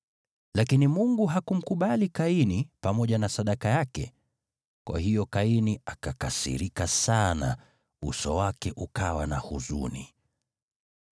lakini Mungu hakumkubali Kaini pamoja na sadaka yake. Kwa hiyo Kaini akakasirika sana, uso wake ukawa na huzuni.